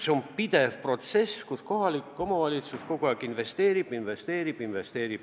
See on pidev protsess, mille käigus kohalik omavalitsus kogu aeg maksab, maksab, maksab.